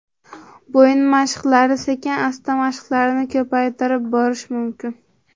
Bo‘yin mashqlari Sekin-asta mashqlarni ko‘paytirib borish mumkin.